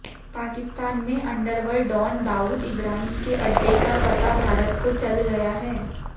पाकिस्तान में underworld don Dawood Ibrahim के अड्डे का पता भारत को चल गया है